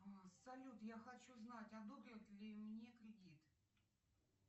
салют я хочу знать одобрят ли мне кредит